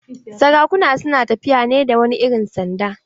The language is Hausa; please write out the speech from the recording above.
Sarakuna su na tafiya ne da wani irin sanda.